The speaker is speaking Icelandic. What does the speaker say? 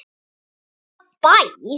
Bænum, hvaða bæ?